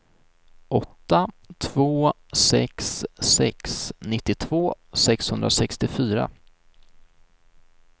åtta två sex sex nittiotvå sexhundrasextiofyra